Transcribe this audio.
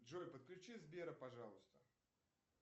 джой подключи сбера пожалуйста